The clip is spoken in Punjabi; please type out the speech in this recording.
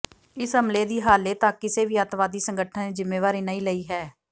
ਇਸ ਹਮਲੇ ਦੀ ਹਾਲੇ ਤੱਕ ਕਿਸੇ ਵੀ ਅੱਤਵਾਦੀ ਸੰਗਠਨ ਨੇ ਜਿੰਮੇਵਾਰੀ ਨਹੀਂ ਲਈ ਹੈ